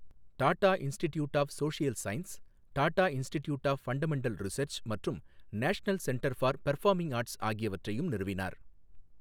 Tata institute of social sciences, Tata institute of fundamental research மற்றும் national centre for performing arts ஆகியவற்றையும் நிறுவினார்.